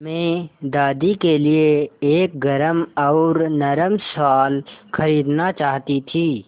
मैं दादी के लिए एक गरम और नरम शाल खरीदना चाहती थी